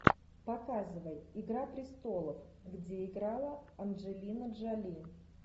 показывай игра престолов где играла анджелина джоли